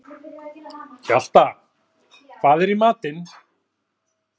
Hjalta, hvað er í matinn?